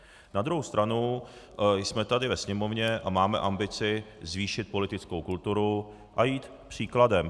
Na druhou stranu jsme tady ve Sněmovně a máme ambici zvýšit politickou kulturu a jít příkladem.